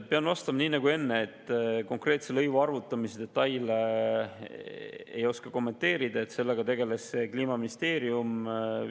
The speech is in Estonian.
Pean vastama nii nagu enne, et konkreetse lõivu arvutamise detaile ei oska kommenteerida, sellega tegeles Kliimaministeerium.